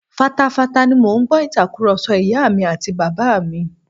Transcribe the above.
Fatafata ni mò ń gbọ́ Ìtàkùrọ̀sọ ìyá mi àti bàbá mi